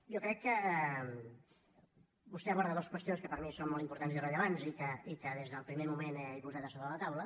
jo crec que vostè aborda dues qüestions que per a mi són molt importants i rellevants i que des del primer moment he posat a sobre la taula